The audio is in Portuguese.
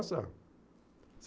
Nossa.